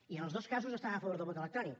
i en els dos casos estaven a favor del vot electrònic